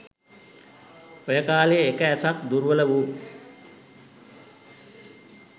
ඔය කාලයේ එක ඇසක් දුර්වල වූ